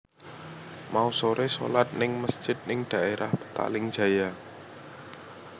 Mau sore solat ning mesjid ning daerah Petaling Jaya